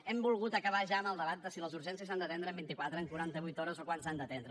hem volgut acabar ja amb el debat de si les urgències s’han d’atendre en vint i quatre en quaranta vuit hores o quan s’han d’atendre